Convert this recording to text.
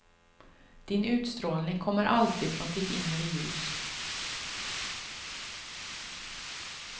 Din utstrålning kommer alltid från ditt inre ljus.